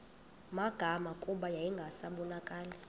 magama kuba yayingasabonakali